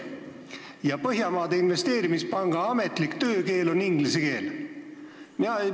Aga Põhjamaade Investeerimispanga ametlik töökeel on inglise keel.